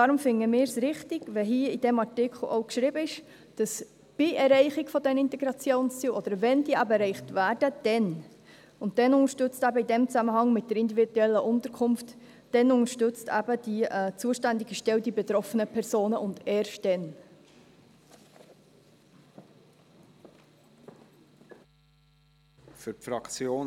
Deswegen finden wir es richtig, wenn in diesem Artikel geschrieben wird, dass bei Erreichen der Integrationsziele, oder wenn diese eben erreicht werden, erst dann im Zusammenhang mit der individuellen Unterkunft unterstützt wird, beziehungsweise die zuständige Stelle die betroffenen Personen erst dann unterstützt.